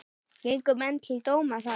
Gengu menn til dóma þar.